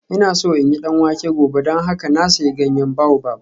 Ina so in yi danwake gobe don haka na sayi ganyen baobab